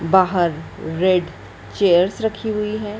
बाहर red chairs रखी हुई हैं।